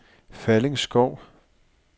Falling Skov